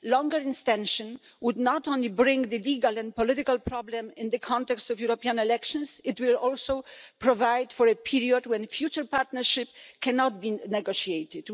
A longer extension would not only bring the legal and political problem into the context of the European elections, but it will also provide for a period when a future partnership cannot been negotiated.